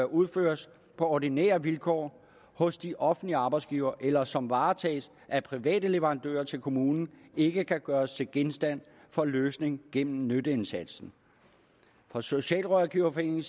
udføres på ordinære vilkår hos de offentlige arbejdsgivere eller som varetages af private leverandører til kommunen ikke kan gøres til genstand for løsning gennem nytteindsatsen fra socialrådgiverforeningen